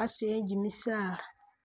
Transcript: a'asi e'kimisaala